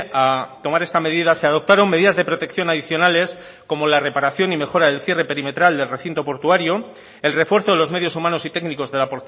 a tomar esta medida se adoptaron medidas de protección adicionales como la reparación y mejora del cierre perimetral del recinto portuario el refuerzo de los medios humanos y técnicos de la